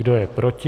Kdo je proti?